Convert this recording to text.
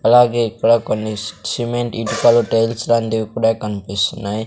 అలాగే ఇక్కడ కొన్ని సిమెంట్ ఇటుకలు టైల్స్ లాంటివి కూడా కనిపిస్తున్నాయి.